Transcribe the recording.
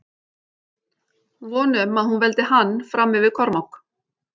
Von um að hún veldi hann fram yfir Kormák.